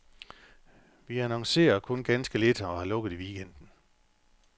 Vi annoncerer kun ganske lidt og har lukket i weekenden.